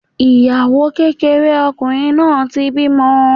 Ìyàwó kékeré ọkùnrin náà ti bímọ.